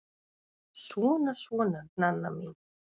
Svona, svona, Nanna mín.